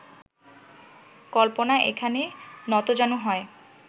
কল্পনা এখানে নতজানু হয়